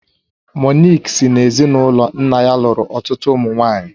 Monique si n'ezinụlọ nna ya lụrụ ọtụtụ ụmụ nwaanyị